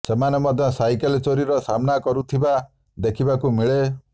ସେମାନେ ମଧ୍ୟ ସାଇକେଲ ଚୋରିର ସାମ୍ନା କରୁଥିବା ଦେଖିବାକୁ ମିଳେ